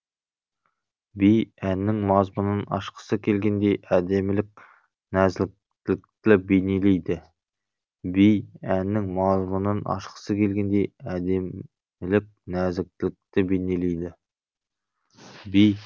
би әннің мазмұнын ашқысы келгендей әдемілік нәзіктілікті бейнелейді